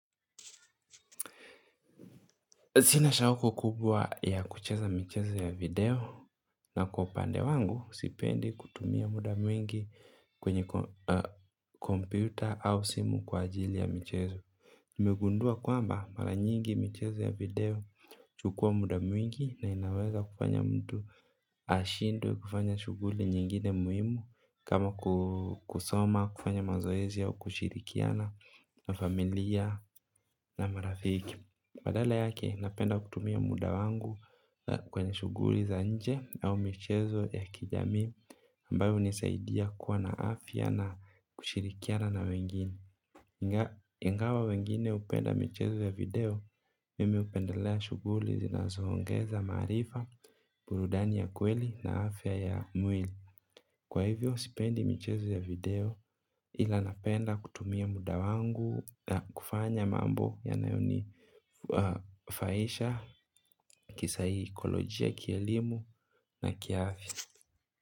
Sina shauko kubwa ya kucheza mchezo ya video, na kwa upande wangu sipendi kutumia muda mwingi kwenye kompyuta au simu kwa ajili ya michezo. Nimegundua kwamba mara nyingi mchezo ya video huchukua muda mwingi na inaweza kufanya mtu ashindwe kufanya shughuli nyingine muhimu kama kusoma, kufanya mazoezi au kushirikiana na familia na marafiki. Badala yake, napenda kutumia muda wangu kwenye shughuli za nje au michezo ya kijamii ambayo hunisaidia kuwa na afya na kushirikiana na wengine. Ingawa wengine hupenda michezo ya video, mimi hupendelea shughuli zinazo ongeza maarifa, burudani ya kweli na afya ya mwili. Kwa hivyo sipendi michezo ya video, ila napenda kutumia muda wangu na kufanya mambo yanayonifaidisha kisaikolojia, kielimu na kiafya.